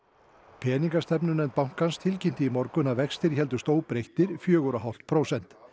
peningastefnunefnd bankans tilkynnti í morgun að vextir héldust óbreyttir fjögur og hálft prósent